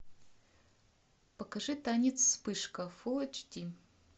покажи танец вспышка фул эйч ди